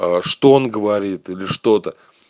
что он говорит или что-то